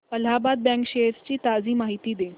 Allahabad bank shares ची ताजी माहिती दे